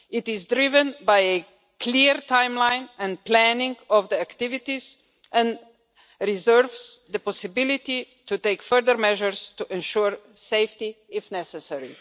It is driven by a clear timeline and planning of the activities and reserves the possibility to take further measures to ensure safety if necessary.